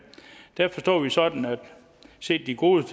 forstår vi sådan set de gode